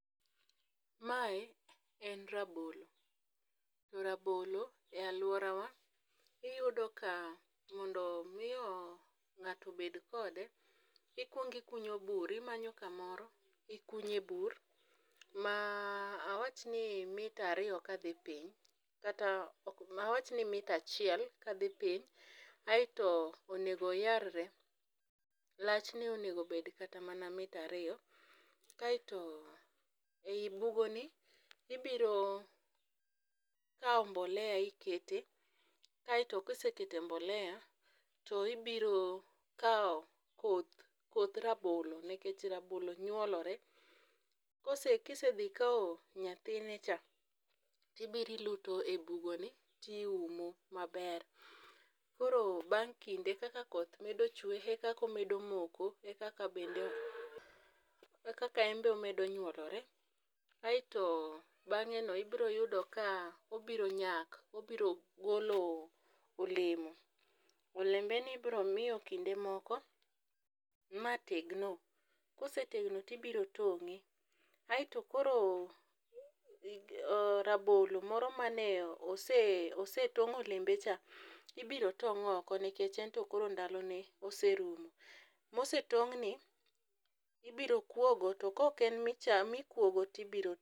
Mae, en rabolo. To rabolo,e alworawa, iyudo ka mondo miyo ng'ato obed kode, ikuong ikunyo bur. Imanyo kamoro, ikunye bur ma, awach ni mita ariyo kadhi piny, kata awach ni mita achiel kadhi piny, aito onego oyarre. Lachne onego obed kata mana mita ariyo. Kaito ei bugoni, ibiro kawo mbolea ikete, kaito kisekete mbolea, to ibiro kawo koth rabolo, nikech rabolo nywolore. Kisedhi ikawo nyathine cha, tibiro iluto e bugoni to iumo maber. Koro bang' kinde kaka koth medo chwee e kaka omedo moko e kaka bende, e kaka enbe omedo nywolore, aito bang'eno ibiro yudo ka obiro nyak, obiro golo olemo. Olembeni ibiro miyo kinde moko ma tegno, kosetegno to ibiro tong'e. Aito koro, rabolo moro mane osetong' olembe cha ibiro tong' oko nikech ento koro ndalone oserumo. Mosetong'ni ibiro kuogo, to ka ok en mikuogo to ibiro.